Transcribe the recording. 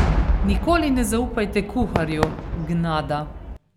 Nikoli ne zaupajte kuharju, gnada.